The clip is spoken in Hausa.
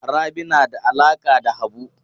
Rabi na da alaƙa da Habu.